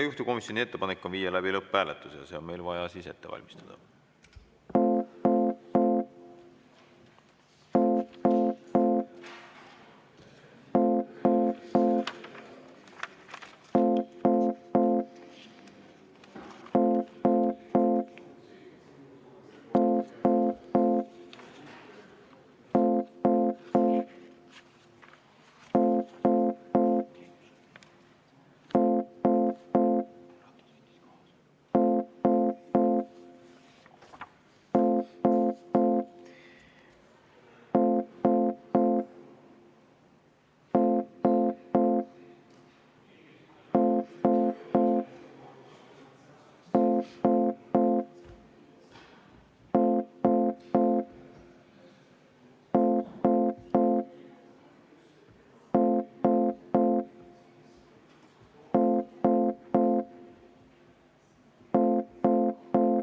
Juhtivkomisjoni ettepanek on viia läbi lõpphääletus ja see on meil vaja ette valmistada.